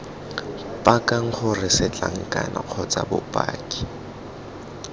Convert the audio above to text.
pakang gore setlankana kgotsa bopaki